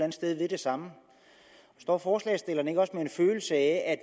et sted vil det samme står forslagsstilleren ikke også med en følelse af at